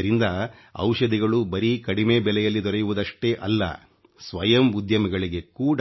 ಇದರಿಂದ ಔಷಧಿಗಳು ಬರೀ ಕಡಿಮೆ ಬೆಲೆಯಲ್ಲಿ ದೊರೆಯುವುದಷ್ಟೇ ಅಲ್ಲ ಸ್ವಯಂ ಉದ್ಯಮಿಗಳಿಗೆ ಕೂಡ